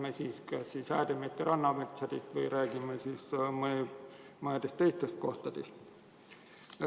Jutt on kas Häädemeeste rannametsast või mõnedest teistest kohtadest.